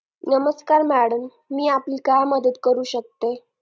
नमस्कार madam मी आपली काय मदत करू शकते